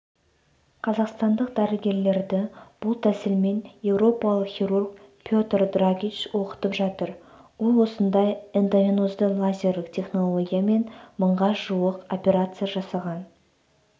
қазақстандық дәрігерлерді бұл тәсілмен еуропалық хирург петр драгич оқытып жатыр ол осындай эндовенозды лазерлік технологиямен мыңға жуық операция жасаған